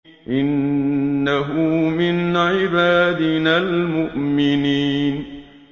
إِنَّهُ مِنْ عِبَادِنَا الْمُؤْمِنِينَ